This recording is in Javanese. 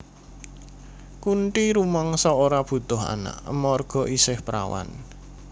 Kunthi rumangsa ora butuh anak amarga isih prawan